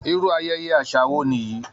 Irú ayẹyẹ àṣà wo nìyí!